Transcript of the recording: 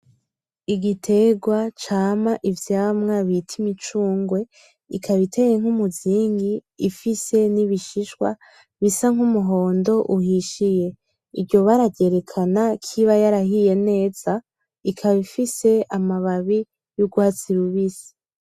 Igiterwa cama ivyamwa bita imicungwe, ikaba iteye nk'umuzingi ifise n'ibishishwa bisa nk'umuhondo uhishiye. Iryo bara ryerekana kiba yarahiye neza, ikaba ifise amababi y'urwatsi rubisi.